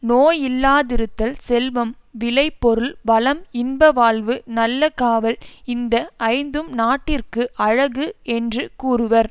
நோயில்லாதிருத்தல் செல்வம் விளை பொருள் வளம் இன்பவாழ்வு நல்ல காவல் இந்த ஐந்தும் நாட்டிற்கு அழகு என்று கூறுவர்